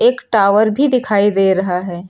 Tower भी दिखाई दे रहा है।